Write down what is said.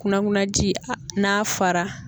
Kunakunanji n'a fara.